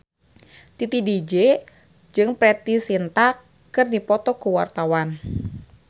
Titi DJ jeung Preity Zinta keur dipoto ku wartawan